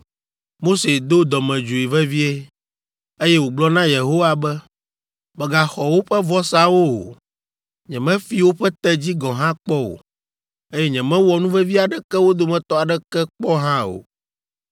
Mose do dɔmedzoe vevie, eye wògblɔ na Yehowa be, “Mègaxɔ woƒe vɔsawo o! Nyemefi woƒe tedzi gɔ̃ hã kpɔ o, eye nyemewɔ nuvevi aɖeke wo dometɔ aɖeke kpɔ hã o.”